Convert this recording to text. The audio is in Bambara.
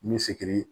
Ni sigi